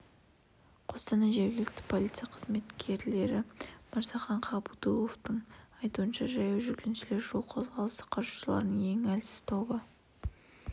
қостанай жергілікті полиция қызметінің қызметкері мырзахан ғабдуловтың айтуынша жаяу жүргіншілер жол қозғалысы қатысушыларының ең әлсіз тобы